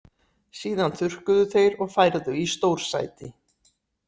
Síðan þurrkuðu þeir og færðu í stórsæti.